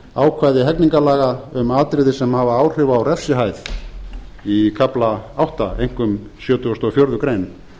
ákvæði hegningarlaga um atriði sem hafa áhrif á refsihæð í kafla átta einkum sjötugasta og fjórðu grein